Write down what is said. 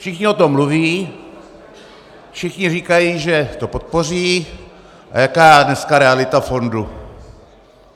Všichni o tom mluví, všichni říkají, že to podpoří, a jaká je dneska realita fondu?